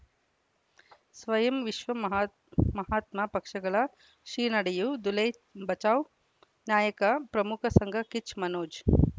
ಸ್ವಯಂ ವಿಶ್ವ ಮಹಾತ್ ಮಹಾತ್ಮ ಪಕ್ಷಗಳ ಶ್ರೀ ನಡೆಯೂ ದುಲೈ ಬಚೌ ನಾಯಕ ಪ್ರಮುಖ ಸಂಘ ಕಿಚ್ ಮನೋಜ್